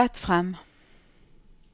gå rett frem